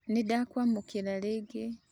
Nĩ ndakwamũkĩra rĩngĩ